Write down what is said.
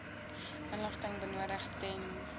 inligting benodig ten